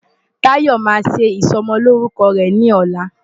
Tayo máa ṣe ìsọmọlórúkọ rẹ̀ ní ọ̀la.